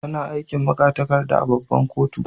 Tana aikin magatarkada a' babban kotu.